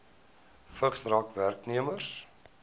vigs raak werknemers